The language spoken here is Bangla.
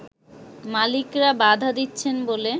মালিকরা বাধা দিচ্ছেন বলে